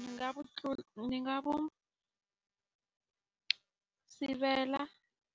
Ndzi nga va ni nga vu sivela